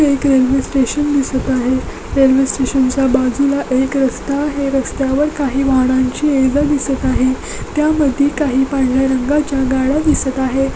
एक railway station दिसत आहे रेल्वे स्टेशन च्या बाजूला एक रस्ता आहे रस्त्यावर काही वाहनांची ये जा दिसत आहे त्यामध्ये काही पांढर्‍या रंगाच्या गाड्या दिसत आहे.